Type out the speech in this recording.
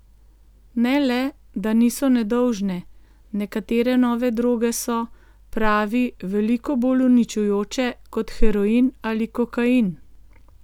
Ne le, da niso nedolžne, nekatere nove droge so, pravi, veliko bolj uničujoče, kot heroin ali kokain.